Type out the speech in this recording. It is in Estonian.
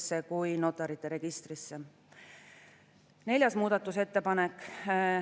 Sellele järgnesid ettevalmistused teiseks lugemiseks, mis toimusid kolmel korral: 5., 6. ja 13. juunil.